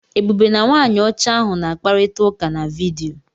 Ebube na nwaanyị ọcha ahụ na-akparịta ụka na vidiyo.